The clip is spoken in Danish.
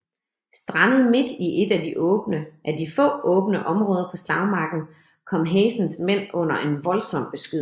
Strandet midt i et af de få åbne områder på slagmarken kom Hazens mænd under en voldsom beskydning